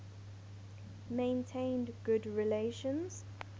maintained good relations